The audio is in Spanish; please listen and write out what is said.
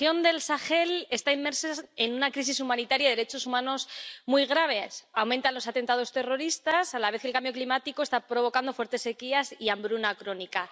Señor presidente, la región del Sahel está inmersa en una crisis humanitaria de derechos humanos muy grave. Aumentan los atentados terroristas y, a la vez, el cambio climático está provocando fuertes sequías y hambruna crónica.